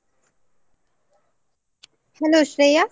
Hello Shreya.